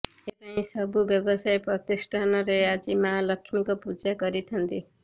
ଏଥିପାଇଁ ସବୁ ବ୍ୟବସାୟ ପ୍ରତିଷ୍ଠାନରେ ଆଜି ମା ଲକ୍ଷ୍ମୀଙ୍କୁ ପୂଜା କରିଥାନ୍ତି